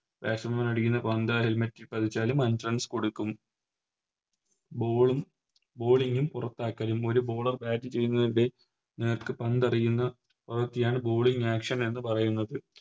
Batsman മാർ അടിക്കുന്ന പന്ത് Helmet ൽ പതിച്ചാലും അഞ്ച് Runs കൊടുക്കും Ball bowling ഉം പുറത്താക്കളും ഒരു Bowler ചെയ്യുന്നതിൻറെ നേർക്ക് പന്തെറിയുന്ന അതൊക്കെയാണ് Bowling action എന്ന് പറയുന്നത്